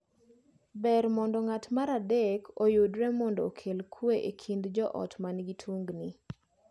Ber mondo ng’at mar adek oyudre mondo okel kwe e kind joot man gi tungni.